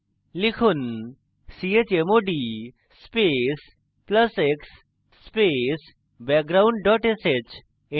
লিখুন chmod space plus x space background dot sh